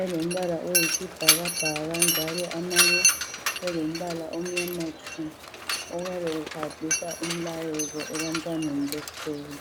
alombala oyisibhakabhaka njalo amanye elombala omnyama tshu ayabe ehambisa umlayezo ebantwaneni besikolo.